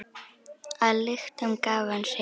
Að lyktum gaf hann sig.